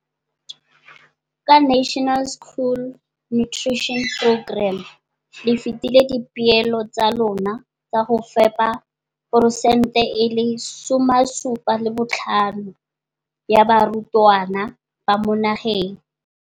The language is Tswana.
Ka NSNP le fetile dipeelo tsa lona tsa go fepa masome a supa le botlhano a diperesente ya barutwana ba mo nageng.